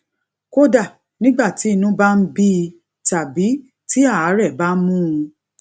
kódà nígbà tí inú bá ń bí i tàbí tí àárè bá mú un